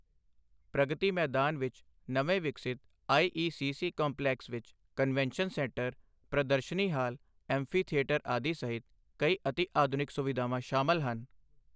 ਪ੍ਰਗਤੀ ਮੈਦਾਨ ਵਿੱਚ ਨਵੇਂ ਵਿਕਸਿਤ I E C C complex ਵਿੱਚ ਕਨਵੈਂਨਸ਼ਨ ਸੈਂਟਰ, ਪ੍ਰਦਰਸ਼ਨੀ ਹਾਲ, ਐਂਫੀਥੀਏਟਰ ਆਦਿ ਸਹਿਤ ਕਈ ਅਤਿਆਧੁਨਿਕ ਸੁਵਿਧਾਵਾਂ ਸ਼ਾਮਿਲ ਹਨ।